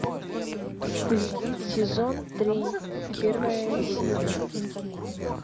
стыд сезон три первая серия